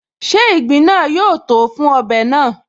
Ṣe ìgbín náà yóó tòó fún ọbẹ̀ náà?